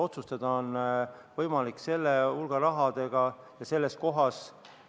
Otsustada on võimalik selle rahahulga põhjal ja selles kohas.